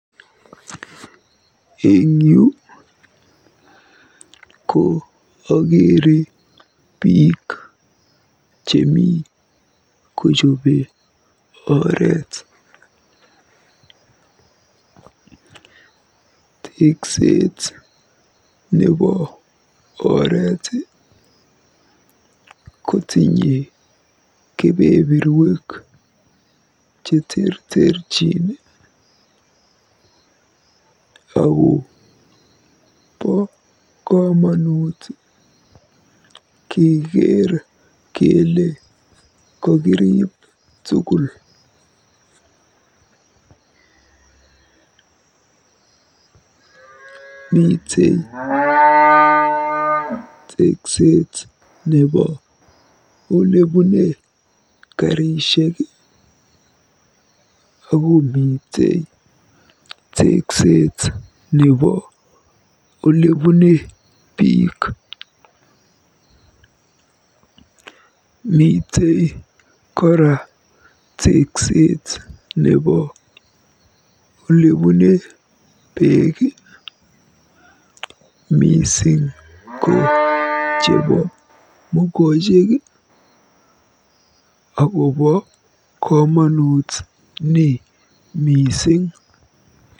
Eng yu ko ageere biik chemi kojobe oreet. Tekset nebo oret kotinye kebeberwek cheterterchin ako bo komonut keker kele kokiriib tugul. Mitei tekset nebo olebune karishek akomite tekset nebo olebune biik. Mitei kora tekset nebo olebune beek mising ko chebo mokochek akobo komonut ni mising.